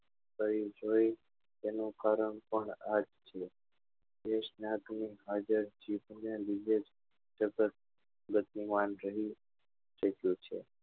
શરીર જોઈ તેનું કારણ પણ આ જ છે જે સ્વાસ્થ્ય નાં જીભ નાં લીધે જ સતત બુદ્ધિમાન રહી ચુક્યો છે